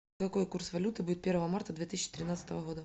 какой курс валюты будет первого марта две тысячи тринадцатого года